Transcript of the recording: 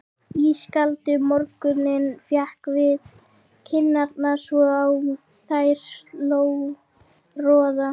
Ískaldur morgunninn lék við kinnarnar svo á þær sló roða.